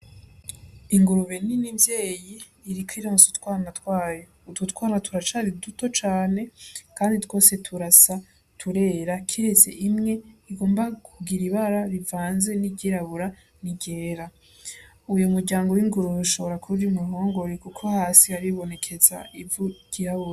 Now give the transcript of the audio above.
Ingurube nini mvyeyi iriko ironsa utwana twayo. Utwo twana turacari duto cane kandi twose turasa, tutera kiretse imwe igomba kugira ibara rivanze iryirabura n'iryera. Uwo muryango w'ingurube ushobora kuba uri mu ruhongore kuko hasi haribonekeza ivu ryirabura.